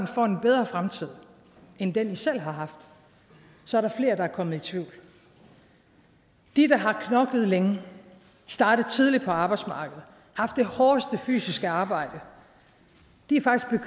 får en bedre fremtid end den de selv har haft så er der flere der er kommet i tvivl de der har knoklet længe startet tidligt på arbejdsmarkedet haft det hårdeste fysiske arbejde